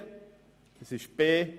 Verschiebungen, b)